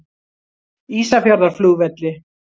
Ísafjarðarflugvelli